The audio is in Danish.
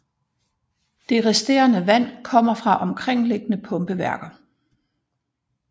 Det resterende vand kommer fra omkringliggende pumpeværker